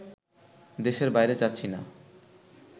দেশের বাইরে যাচ্ছি না